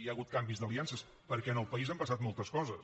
hi ha hagut canvis d’aliances perquè en el país han passat moltes coses